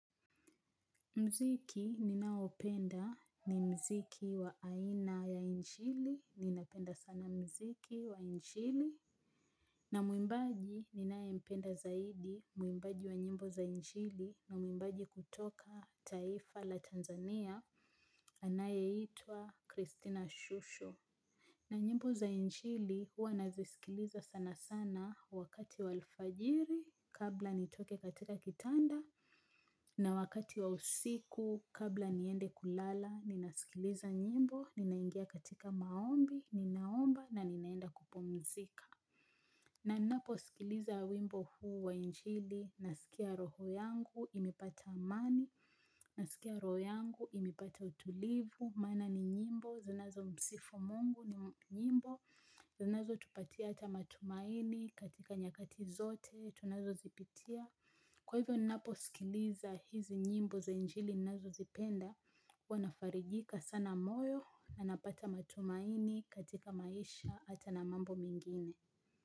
Mziki ninaopenda ni mziki wa aina ya injili, ninapenda sana mziki wa injili. Na muimbaji ninaempenda zaidi muimbaji wa nyimbo za injili na muimbaji kutoka taifa la Tanzania, anayeitwa Christina Shushu. Na nyimbo za injli huwa nazisikiliza sana sana wakati wa alfajiri kabla nitoke katika kitanda. Na wakati wa usiku kabla niende kulala, ninasikiliza nyimbo, ninaingia katika maombi, ninaomba na ninaenda kupumzika. Na ninapo sikiliza wimbo huu wa injili, nasikia roho yangu, imipata amani, nasikia roho yangu, imepata utulivu, maana ni nyimbo, zinazomsifu Mungu ni nyimbo, zinazotupatia ata matumaini katika nyakati zote, tunazozipitia. Kwa hivyo nnaposikiliza hizi nyimbo za njili nazozipenda, wanafarijika sana moyo na napata matumaini katika maisha ata na mambo mengine.